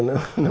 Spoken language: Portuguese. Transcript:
não, não